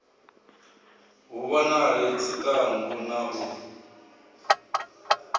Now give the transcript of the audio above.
hu vhonale tshiṱangu na u